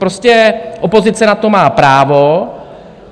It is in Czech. Prostě opozice na to má právo.